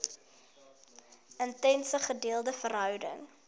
intense gedeelde verhouding